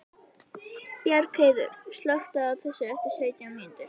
Bjargheiður, slökktu á þessu eftir sautján mínútur.